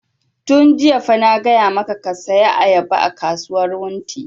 Yun jiya fa na gaya maka ka saya ayaba a kasuwar wunti!